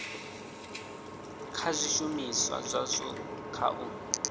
kha zwishumiswa zwazwo kha u